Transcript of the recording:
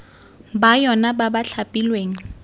ba yona ba ba thapilweng